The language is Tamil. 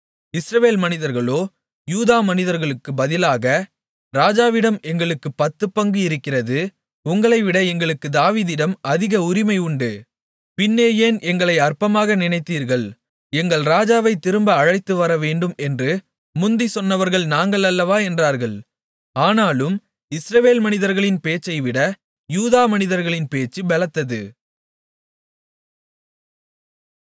இஸ்ரவேல் மனிதர்களோ யூதா மனிதர்களுக்கு பதிலாக ராஜாவிடம் எங்களுக்குப் பத்துப்பங்கு இருக்கிறது உங்களைவிட எங்களுக்கு தாவீதிடம் அதிக உரிமை உண்டு பின்னே ஏன் எங்களை அற்பமாக நினைத்தீர்கள் எங்கள் ராஜாவைத் திரும்ப அழைத்துவரவேண்டும் என்று முந்திச் சொன்னவர்கள் நாங்கள் அல்லவா என்றார்கள் ஆனாலும் இஸ்ரவேல் மனிதர்களின் பேச்சைவிட யூதா மனிதர்களின் பேச்சு பெலத்தது